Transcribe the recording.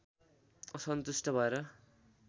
असन्तुष्ट भएर